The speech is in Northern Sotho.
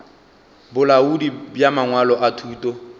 bolaodi bja mangwalo a thuto